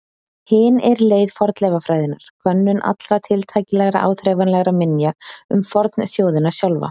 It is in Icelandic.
Hin er leið fornleifafræðinnar, könnun allra tiltækilegra áþreifanlegra minja um fornþjóðina sjálfa.